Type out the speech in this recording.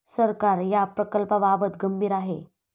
सरकार या प्रकल्पाबाबत गंभीर आहे.